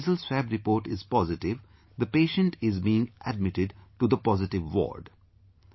If the nasal swab report is positive, the patient is being admitted to the positive ward